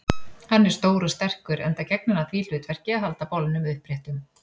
Hann er stór og sterkur, enda gegnir hann því hlutverki að halda bolnum uppréttum.